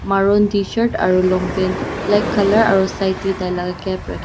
Maron tshirt aro long pant black aro side ta tai la cape rake--